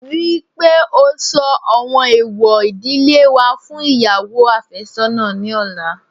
Rí i pé ó sọ àwọn èèwọ̀ ìdílé wa fún ìyàwó àfẹ́sọ́nà ní ọ̀la